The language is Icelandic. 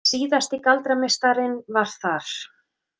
Síðasti galdrameistarinn var þar.